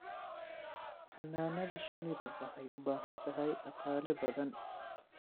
Xannaanada shinnidu waxay u baahan tahay dhaqaale badan.